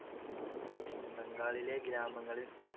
പിന്നെ ബംഗാളിലെ ഗ്രാമങ്ങളിൽ